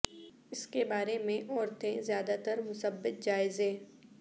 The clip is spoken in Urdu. اس کے بارے میں عورتیں زیادہ تر مثبت جائزے